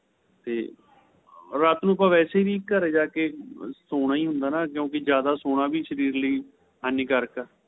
ਤੇ ਰਾਤ ਨੂੰ ਆਪਾਂ ਵੈਸੇ ਵੀ ਘਰੇ ਜਾਕੇ ਸੋਣਾ ਹੀ ਹੁੰਦਾ ਜਿਆਦਾ ਸੋਣਾ ਵੀ ਸ਼ਰੀਰ ਲਈ ਹਾਨੀਕਾਰਕ ਏ